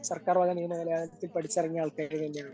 സർക്കാർ വക നിയമവിദ്യാലയത്തിൽ പഠിച്ചിറങ്ങിയ ആൾക്കാർ തന്നെയാണ്